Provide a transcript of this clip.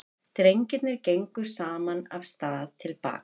Drengirnir gengu saman af stað til baka.